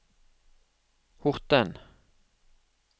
Horten